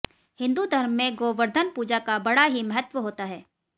हिंदू धर्म में गोवर्धन पूजा का बड़ा ही महत्त्व होता है